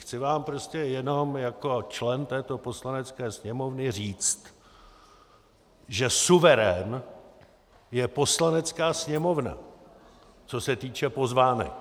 Chci vám prostě jenom jako člen této Poslanecké sněmovny říct, že suverén je Poslanecká sněmovna, co se týče pozvánek.